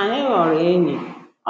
Anyị ghọrọ enyi,